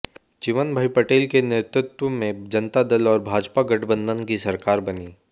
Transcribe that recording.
चिमनभाई पटेल के नेतृत्व में जनता दल और भाजपा गठबंधन की सरकार बनी